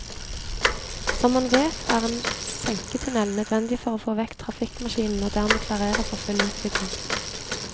Som man vet er en senketunnel nødvendig for å få vekk trafikkmaskinen og dermed klarere for full utbygging.